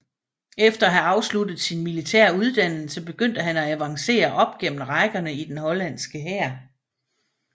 Efter at have afsluttet sin militære uddannelse begyndte han at avancere op gennem rækkerne i den hollandske hær